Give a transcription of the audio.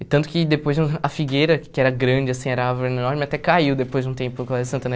E tanto que depois no a figueira, que era grande, assim, era a árvore enorme, até caiu depois de um tempo o Colégio Santana.